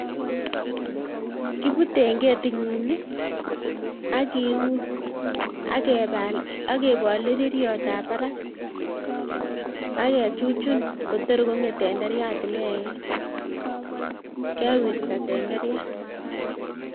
Kibute eng ketinyin ii akiun, agebal agebol rereryotab barak, agechuchun koter kong'et tenderiat inegei, kewirta tenderiat.